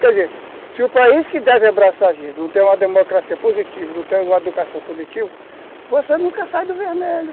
Quer dizer, se o país que deve abraçar a gente não tem uma democracia positiva, não tem uma educação positiva, você nunca sai do vermelho.